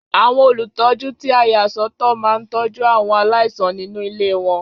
Àwọn olùtọ́jú tí a yà sọ́ tọ̀ máa ń tọ́jú àwọn aláìsàn nínú ilé wọn.